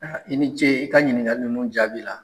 I ni ce i ka ɲininkali ninnu jaabi la!